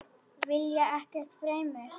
Vilja ekkert fremur.